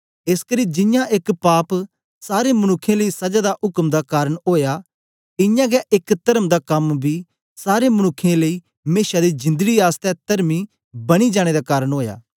एसकरी जियां एक पाप सारे मनुक्खें लेई सजा दा उक्म दा कारन ओया इयां गै एक तर्म दा कम बी सारे मनुक्खें लेई मेशा दी जिंदड़ी आसतै तरमी बनी जाने दा कारन ओया